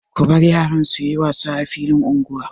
Ku bar yaran su yi wasa a filin unguwa.